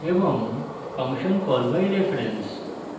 এবং function call by reference